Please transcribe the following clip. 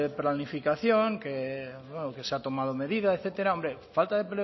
planificación que se han tomado medidas etcétera hombre falta de